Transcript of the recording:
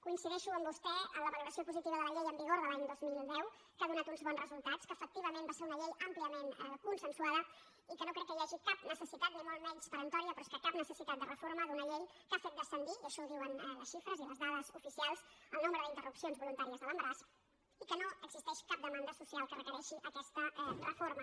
coincideixo amb vostè en la valoració positiva de la llei en vigor de l’any dos mil deu que ha donat uns bons resultats que efectivament va ser una llei àmpliament consensuada i que no crec que hi hagi cap necessitat ni molt menys peremptòria però és que cap necessitat de reforma d’una llei que ha fet descendir i això ho diuen les xifres i les dades oficials el nombre d’interrupcions voluntàries de l’embaràs i que no existeix cap demanda social que requereixi aquesta reforma